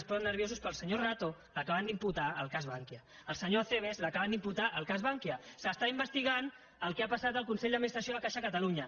es posen nerviosos però el senyor rato l’acaben d’imputar al cas bankia el senyor acebes l’acaben d’imputar al cas bankia s’investiga el que ha passat al consell d’administració de caixa catalunya